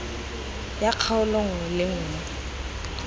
ya kgaolo nngwe le nngwe